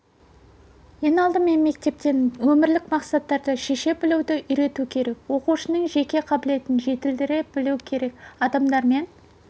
ең алдымен мектептен өмірлік мақсаттарды шеше білуді үйрету керек оқушының жеке қабілетін жетілдіре білу керек адамдармен